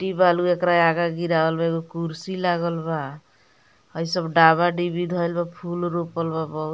गिट्टी बालू एकरा आगअ गिरवाल बा एगो कुर्सी लागल बा हई सब डाबा-डीबी धईल बा फूल रोपल बा बहु --